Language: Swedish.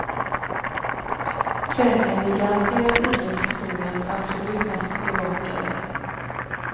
Träningen blir garanterat idrottshistoriens absolut mest bevakade.